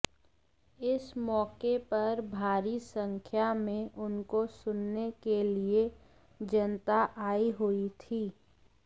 इस मौके पर भारी संख्या में उनको सुनने के लिए जनता आई हुई थी